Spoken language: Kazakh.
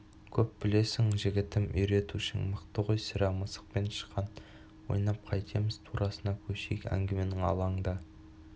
көп білесің жігітім үйретушің мықты ғой сірә мысық пен тышқан ойнап қайтеміз турасына көшейік әңгіменің алаңда